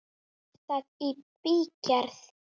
Er það í bígerð?